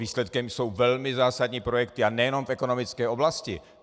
Výsledkem jsou velmi zásadní projekty, a nejenom v ekonomické oblasti.